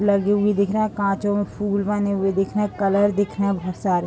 लगी हुई दिखरा कांचों में फूल बने हुए दिख रहे हैं कलर दिखणा बहुत सारे।